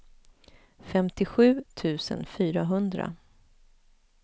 femtiosju tusen fyrahundra